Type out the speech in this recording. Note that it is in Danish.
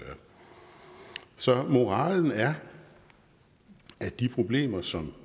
så moralen er at de problemer som